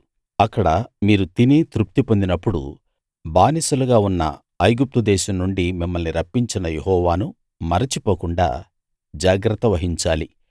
అక్కడ మీరు తిని తృప్తి పొందినప్పుడు బానిసలుగా ఉన్న ఐగుప్తు దేశం నుండి మిమ్మల్ని రప్పించిన యెహోవాను మరచిపోకుండా జాగ్రత్త వహించాలి